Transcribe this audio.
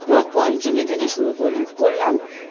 ধর পঞ্চমী থেকে শুরু কর করলাম